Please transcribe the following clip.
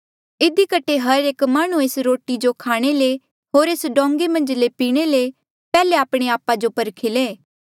इधी कठे हर एक माह्णुं एस रोटी जो खाणे ले होर एस डोंगें मन्झ ले पीणे ले पैहले आपणे आपा जो परखी ले